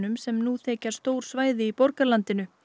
sem nú þekja stór svæði í borgarlandinu